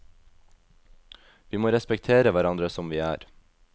Vi må respektere hverandre som vi er.